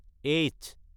H